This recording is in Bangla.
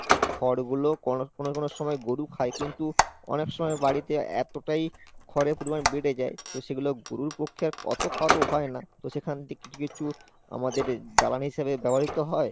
খড় গুলো কোনো কোনো সময় গরু খায় কিন্তু অনেক সময় বাড়িতে এতটাই খড়ের পরিমান বেড়ে যায় তো সেগুলো গুরুর পক্ষে অত খাওয়া তো হয় না তো সেখান থেকে কিছু কিছু আমাদের জ্বালানি হিসেবে ব্যবহৃত হয়।